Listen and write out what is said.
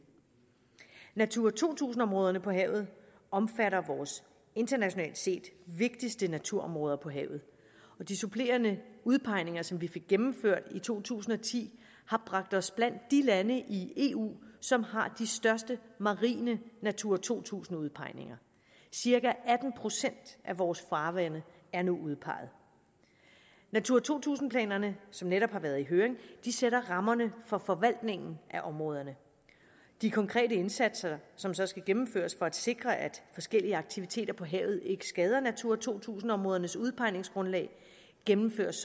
natura to tusind områderne på havet omfatter vores internationalt set vigtigste naturområde på havet og de supplerende udpegninger som vi fik gennemført i to tusind og ti har bragt os blandt de lande i eu som har de største marine natura to tusind udpegninger cirka atten procent af vores farvande er nu udpeget natura to tusind planerne som netop har været i høring sætter rammerne for forvaltningen af områderne de konkrete indsatser som så skal gennemføres for at sikre at forskellige aktiviteter på havet ikke skader natura to tusind områdernes udpegningsgrundlag gennemføres